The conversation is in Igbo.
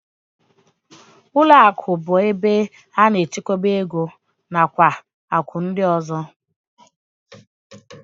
Ụlọakụ bụ ụlọ ebe a na-echekwa ego nakwa akụ ndị ọzọ